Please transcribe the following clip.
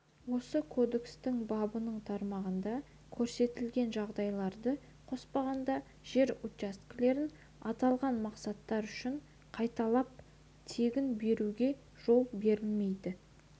осы кодекстің бабының тармағында көрсетілген жағдайларды қоспағанда жер учаскелерін аталған мақсаттар үшін қайталап тегін беруге жол берілмейді